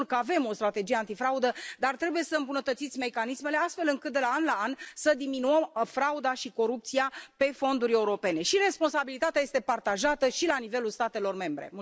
Sigur că avem o strategie antifraudă, dar trebuie să îmbunătățiți mecanismele astfel încât, de la an la an, să diminuăm frauda și corupția pe fonduri europene și responsabilitatea este partajată și la nivelul statelor membre.